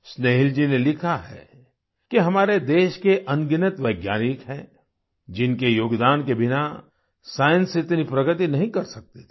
स्न्नेहिल जी ने लिखा है कि हमारे देश के अनगिनत वैज्ञानिक हैं जिनके योगदान के बिना साइंस इतनी प्रगति नहीं कर सकती थी